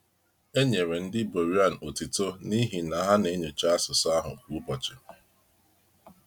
E nyere ndị Beroean otito n’ihi na ha na-enyocha asụsụ ahụ kwa ụbọchị.